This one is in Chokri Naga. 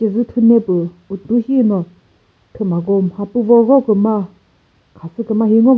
cejüthune püh uthu shino thümako mhapüvo roküma khasü küma hi ngov --